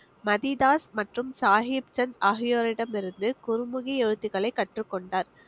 மதிதாஸ் மற்றும் சாஹிப் சந்த் ஆகியோரிடமிருந்து குருமுகி எழுத்துக்களை கற்றுக்கொண்டார்